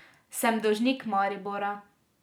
Sem dolžnik Maribora.